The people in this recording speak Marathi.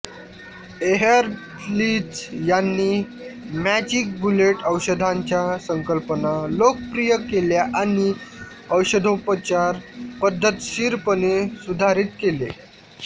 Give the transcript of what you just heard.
एहर्लिच यांनी मॅजिक बुलेट औषधांच्या संकल्पना लोकप्रिय केल्या आणि औषधोपचार पद्धतशीरपणे सुधारित केले